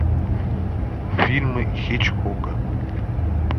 фильмы хичкока